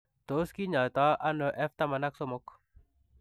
Tos kinyaitoo anoo F taman ak somok